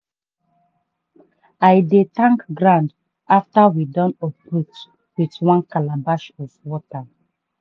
i dey thank ground after we don uproot with one calabash of water.